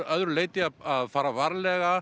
öðru leyti að fara varlega